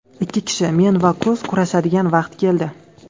Ikki kishi men va Kruz kurashadigan vaqt keldi.